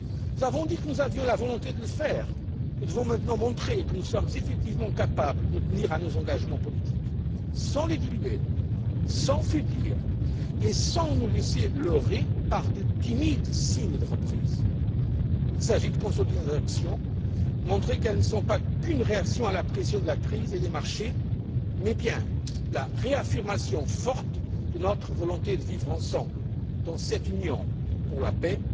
Nous avons dit que nous avions la volonté de le faire, nous devons maintenant montrer que nous sommes effectivement capables de tenir nos engagements politiques, sans les diluer, sans faiblir et sans nous laisser leurrer par de timides signes de reprise. Il s'agit de consolider nos actions, de montrer qu'elles ne sont pas qu'une réaction à la pression de la crise et des marchés, mais bien la réaffirmation forte de notre volonté de vivre ensemble dans cette Union pour